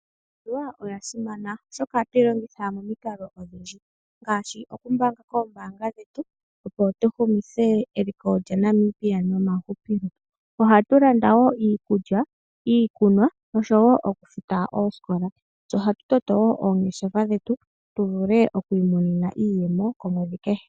Iimaliwa oya simana oshoka oha twilongitha momiikalo odhindji ngashi okumbanga koombanga dhetu opo tuhumithe eliko lya Namibia nomahupilo, ohatulanda wo iikulya, iikunwa, nosho wo okufuta osikola tse oha tutoto wo oongeshefa dhetu tuvule okwimonena iiyemo komwedhi kehe.